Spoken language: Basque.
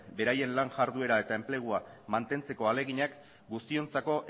beraien lan iharduera eta enplegua mantentzeko ahaleginak guztiontzako